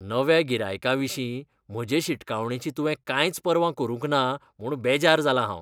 नव्या गिरायकाविशीं म्हजे शिटकावणेची तुवें कांयच पर्वा करूंक ना म्हूण बेजार जालां हांव.